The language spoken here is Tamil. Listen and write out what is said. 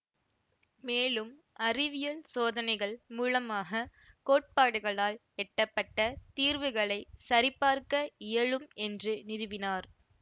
மேலும் அறிவியல் சோதனைகள் மூலமாக கோட்பாடுகளால் எட்டப்பட்ட தீர்வுகளை சரிபார்க்க இயலும் என்று நிறுவினார்